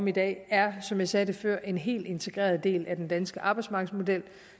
i dag er som jeg sagde det før en helt integreret del af den danske arbejdsmarkedsmodel og